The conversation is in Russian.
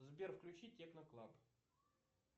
сбер включи техно клаб